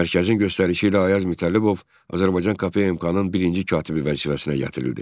Mərkəzin göstərişi ilə Ayaz Mütəllibov Azərbaycan KPMK-nın birinci katibi vəzifəsinə gətirildi.